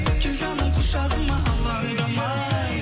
кел жаным құшағыма алаңдамай